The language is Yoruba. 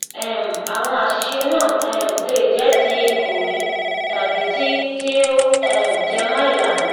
um àwọn àṣìṣe náà um lè jẹ ti ìkòwé tàbí ti ti ó um jẹmọ ìlànà